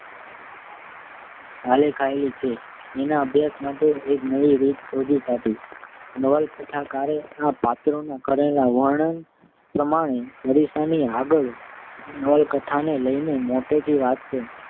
આલેખાયેલી છે. એના અભ્યાસ માટે મેં એક નવી રીત શોધી કાઢી. નવલકથાકારે આ પાત્રોનાં કરેલા વર્ણન પ્રમાણે અરીસાની આગળ હું નવલકથાને લઈને મોટેથી વાંચતો